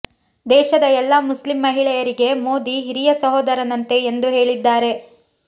ದೇಶದ ಎಲ್ಲಾ ಮುಸ್ಲಿಂ ಮಹಿಳೆಯರಿಗೆ ಮೋದಿ ಹಿರಿಯ ಸಹೋದರನಂತೆ ಎಂದು ಹೇಳಿದ್ದಾರೆ